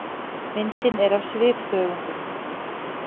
Myndin er af svifþörungum.